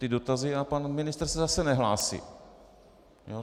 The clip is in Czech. Ty dotazy - a pan ministr se zase nehlásí.